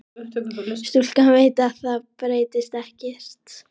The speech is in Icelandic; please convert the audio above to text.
Stúlkan veit að það breytist ekkert.